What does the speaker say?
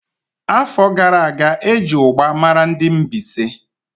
Afọ gara aga, eji ugba mara ndị Mbaise.